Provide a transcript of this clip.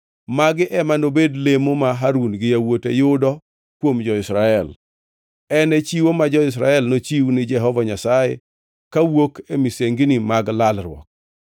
Magi ema nobed lemo ma Harun gi yawuote yudo kuom jo-Israel. En e chiwo ma jo-Israel nochiw ni Jehova Nyasaye kawuok e misengini mag lalruok.